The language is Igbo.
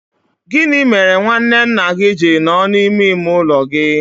Gị mere nwanne nna gị ji nọ n'ime ime ụlọ gị?